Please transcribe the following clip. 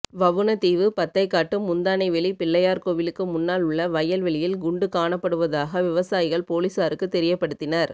வவுணதீவு பத்தைகாட்டு முந்தானைவெளி பிள்ளையார் கோவிலுக்கு முன்னாள் உள்ள வயல் வெளியில் குண்டு காணப்படுவதாக விவசாயிகள் பொலிஸாருக்கு தெரியப்படுத்தினர்